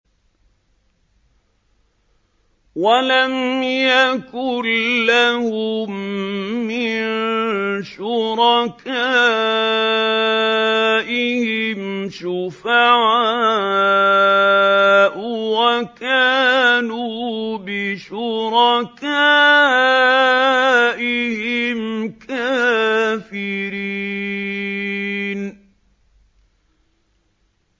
وَلَمْ يَكُن لَّهُم مِّن شُرَكَائِهِمْ شُفَعَاءُ وَكَانُوا بِشُرَكَائِهِمْ كَافِرِينَ